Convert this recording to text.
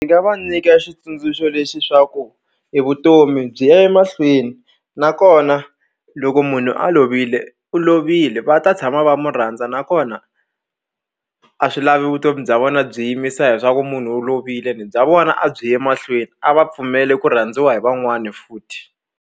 Ni nga va nyika xitsundzuxo lexi swa ku i vutomi byi ya emahlweni nakona loko munhu a lovile u lovile va ta tshama va mu rhandza nakona a swi lavi vutomi bya vona byi yimisa hi swa ku munhu u lovile ni bya vona a byi ye mahlweni a va pfumeli ku rhandziwa hi van'wani futhi.